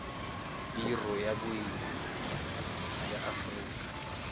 biro ya boemo ya aforika